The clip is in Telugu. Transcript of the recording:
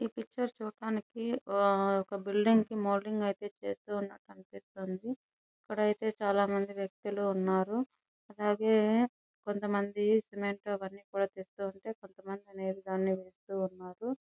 ఈ పిక్చర్ లో చూడటానికి ఒక బిల్డింగ్ కి మౌల్టింగ్ అయితే చేస్తూ ఉన్నట్టు కనిపిస్తుంది. ఇక్కడైతే చాలామంది వ్యక్తులు ఉన్నారు. అలాగే కొంతమంది సిమెంట్ పని చేస్తున్నారు. కొంతమంది దాని ఎగేస్తున్నారు.